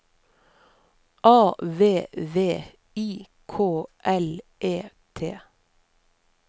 A V V I K L E T